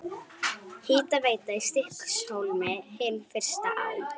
Hitaveita í Stykkishólmi, hin fyrsta á